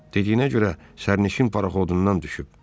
"Dediyinə görə sərnişin paraxodundan düşüb."